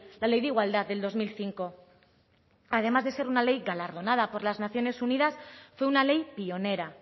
la ley de igualdad del dos mil cinco además de ser una ley galardonada por las naciones unidas fue una ley pionera